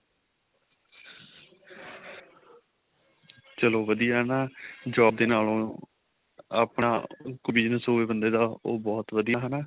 ਚਲੋ ਵਧੀਆ ਹਨਾ job ਦੇ ਨਾਲੋ ਆਪਣਾ ਕੋਈ business ਹੋਵੇ ਬੰਦੇ ਦਾ ਉਹ ਬਹੁਤ ਵਧੀਆ ਹਨਾ